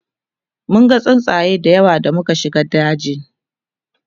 munga tsuntsaye da yawa da muka shiga dajin